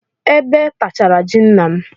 Ebe tachara ji nna m.